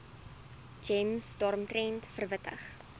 gems daaromtrent verwittig